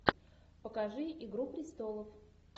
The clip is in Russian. покажи игру престолов